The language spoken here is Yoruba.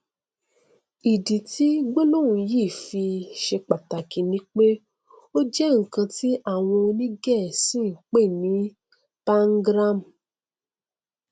ìdí tí gbólóhùn yìí fi ṣe pàtàkì ni pé ó jẹ nkan tí àwọn onígẹẹsì npè ní pangram